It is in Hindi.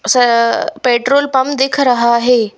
सअअ पेट्रोल पंप दिख रहा है।